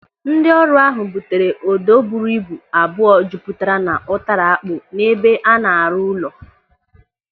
Ndị ọrụ ahụ butere odo buru ibu abụọ jupụtara n'ụtara akpụ n'ebe a na-arụ ụlọ.